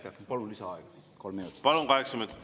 Kolm minutit lisaaega, kokku kaheksa minutit, palun!